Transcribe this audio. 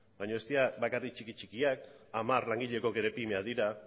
baina ez dira bakarrik txiki txikiak hamar langileko ere pymeak dira